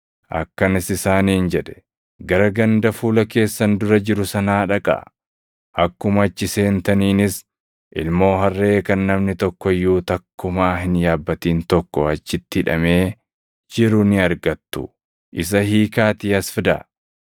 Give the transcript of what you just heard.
akkanas isaaniin jedhe; “Gara ganda fuula keessan dura jiru sanaa dhaqaa; akkuma achi seentaniinis, ilmoo harree kan namni tokko iyyuu takkumaa hin yaabbatin tokko achitti hidhamee jiru ni argattu; isa hiikaatii as fidaa.